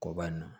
Ko banna